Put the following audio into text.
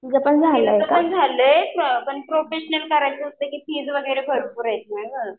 तिचं पण झालंय पण प्रोफेशनल करायला फीस वगैरे भरपूर आहेत ना गं.